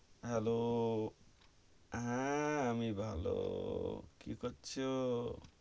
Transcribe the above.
Hello, হেঁ আমি ভালো কি করছো?